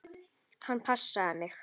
Hann passaði mig.